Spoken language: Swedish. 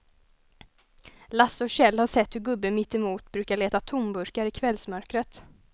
Lasse och Kjell har sett hur gubben mittemot brukar leta tomburkar i kvällsmörkret.